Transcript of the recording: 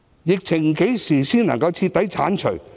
疫情何時才能徹底結束？